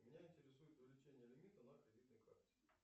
меня интересует увеличение лимита на кредитной карте